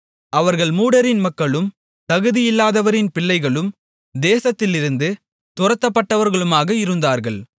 அவர்கள் மூடரின் மக்களும் தகுதியில்லாதவரின் பிள்ளைகளும் தேசத்திலிருந்து துரத்தப்பட்டவர்களுமாக இருந்தார்கள்